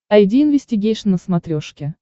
айди инвестигейшн на смотрешке